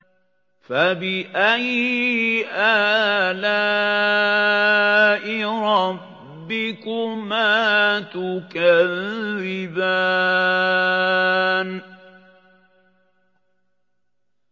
فَبِأَيِّ آلَاءِ رَبِّكُمَا تُكَذِّبَانِ